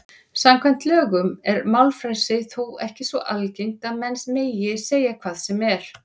Samkvæmt lögum er málfrelsi þó ekki svo algert að menn megi segja hvað sem er.